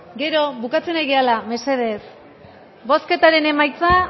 gero bukatzen ari garela mesedez bozketaren emaitza